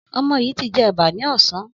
Ọmọ yìí ti jẹ ẹ̀bà ní ọ̀sán.